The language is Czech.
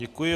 Děkuji.